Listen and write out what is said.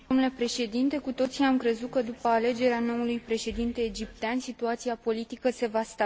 Cu toții am crezut că după alegerea noului președinte egiptean situația politică se va stabiliza.